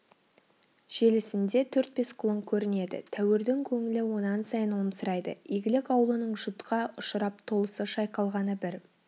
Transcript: желісінде төрт-бес құлын көрінеді тәуірдің көңілі онан сайын омсырайды игілік аулының жұтқа ұшырап толысы шайқалғаны бір